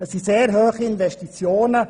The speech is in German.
Es handelt sich um sehr hohe Investitionen.